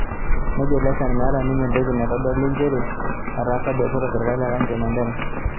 Nejo Leshan, meeta ninye entoki naitodoli nchere etaasa biashara o serkali e county e Mandera.